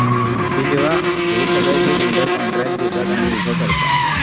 कि जेव्हा हे सगळं जे builder contract घेतात आणि हे उभं करतात